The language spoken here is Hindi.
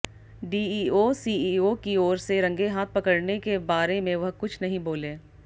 डीईओ सीईओ की ओर से रंगेहाथ पकड़ने के बारे में वह कुछ नहीं बोले